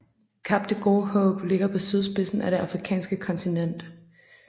Kap det Gode Håb ligger på sydspidsen af det afrikanske kontinent